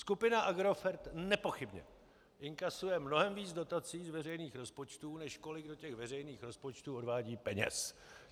Skupina Agrofert nepochybně inkasuje mnohem víc dotací z veřejných rozpočtů, než kolik do těch veřejných rozpočtů odvádí peněz.